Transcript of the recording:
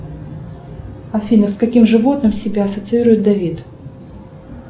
афина с каким животным себя ассоциирует давид